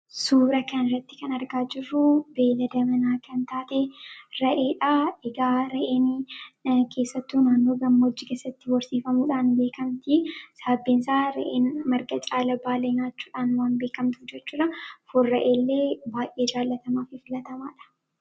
Suura kana irratti kan arginu beeylada manaa kan taate re'eedha. Re'een baay'inaan naannoo lafa gammoojjii keessatti horsiifamuudhaan beekamti. Sababni isaas re'een marga caala baala waan jaalattuuf. Foon re'ee baay'ee jaalatamaadha.